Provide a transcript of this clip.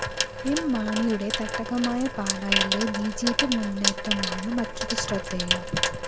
M മാണിയുടെ തട്ടകമായ പാലായിലെ ബി ജെ പി മുന്നറ്റമാണ് മറ്റൊരു ശ്രദ്ധേയം